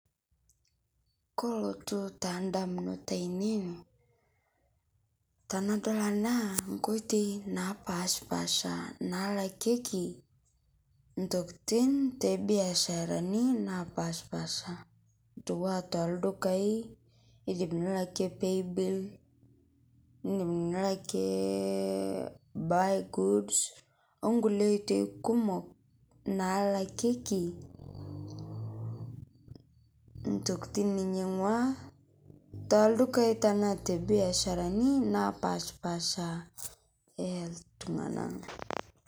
kolotu taa ndamunot ainei nkoitoi napaashipaasha naalakieki ntokiting tebiasharani napaashipaasha tooldukai neiriamunore ake paybill buygoods onkoitoi kumok naalakikei ntokiting ninyangua tooldukai tenaa te biasharani naapaashipaasha nias iltung'ana